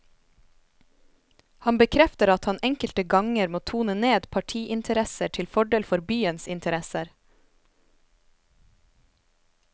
Han bekrefter at han enkelte ganger må tone ned partiinteresser til fordel for byens interesser.